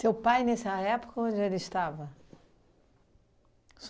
pai, nessa época onde ele estava?